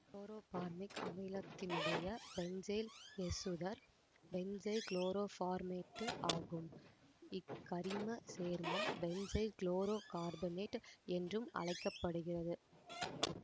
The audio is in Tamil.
குளோரோபார்மிக் அமிலத்தினுடைய பென்சைல் எசுத்தர் பென்சைல் குளோரோபார்மேட்டு ஆகும் இக்கரிமச் சேர்மம் பென்சைல் குளோரோ கார்பனேட்டு என்றும் அழைக்க படுகிறது